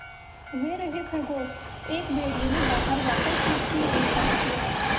वे रहे खरगोश एक भेड़िए ने बाहर जाकर छत की ओर इशारा किया